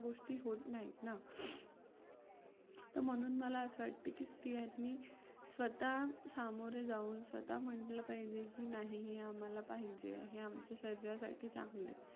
तर म्हणून मला असं वाटतं की स्त्रियांनी स्वतः सामोरे जाऊन स्वतः म्हंटलं पाहिजे की नाही हे आम्हाला पाहिजे आहे हे आमच्या शरीरासाठी चांगलं आहे.